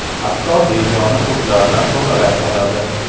Hatto begona o‘tlardan tozalay oladi.